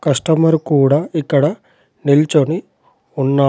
Customer కూడా ఇక్కడ నిల్చోని ఉన్నాడ్.